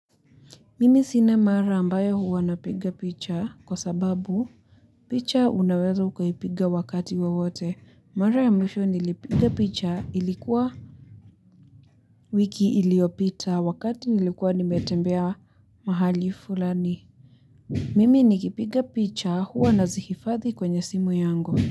Mimi sina mara ambayo huwa napiga picha kwa sababu picha unaweza ukaipiga wakati wawote. Mara ya mwisho nilipiga picha ilikuwa wiki iliyopita wakati nilikuwa nimetembea mahali fulani. Mimi nikipiga picha huwa nazihifadhi kwenye simu yangu.